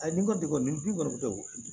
A ni ko degun kɔni tɛ